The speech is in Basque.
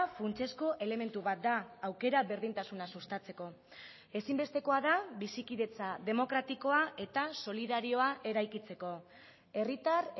funtsezko elementu bat da aukera berdintasuna sustatzeko ezinbestekoa da bizikidetza demokratikoa eta solidarioa eraikitzeko herritar